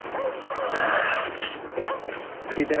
শীতের